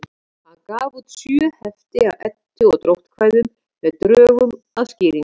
Hann gaf út sjö hefti af Eddu- og dróttkvæðum með drögum að skýringum.